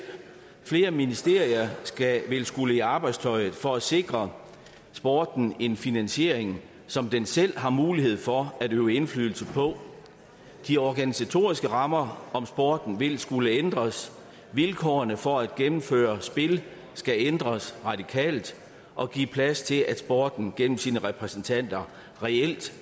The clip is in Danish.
flere ministerier vil skulle i arbejdstøjet for at sikre sporten en finansiering som den selv har mulighed for at øve indflydelse på de organisatoriske rammer om sporten vil skulle ændres vilkårene for at gennemføre spil skal ændres radikalt og give plads til at sporten gennem sine repræsentanter reelt